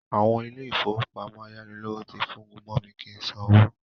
Àwọn ilé-ìfowópamọ́ ayánilówó ti fúngun mọ mi kí sanwó